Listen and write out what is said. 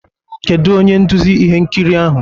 Kedu onye nduzi ihe nkiri ahụ?